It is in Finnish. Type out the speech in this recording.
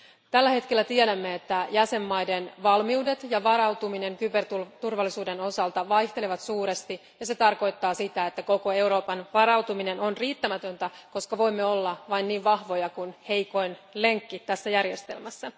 Tällä hetkellä tiedämme, että jäsenmaiden valmiudet ja varautuminen kyberturvallisuuden osalta vaihtelevat suuresti, ja se tarkoittaa sitä, että koko Euroopan varautuminen on riittämätöntä, koska voimme olla vain niin vahvoja kuin heikoin lenkki tässä järjestelmässä.